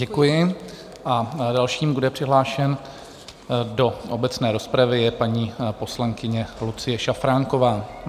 Děkuji a dalším, kdo je přihlášen do obecné rozpravy, je paní poslankyně Lucie Šafránková.